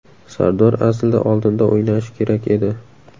Sardor aslida oldinda o‘ynashi kerak edi.